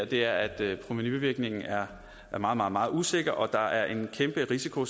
det er at provenuvirkningen er meget meget meget usikker og der er en kæmpe risiko